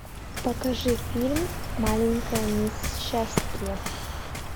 покажи фильм маленькая мисс счастье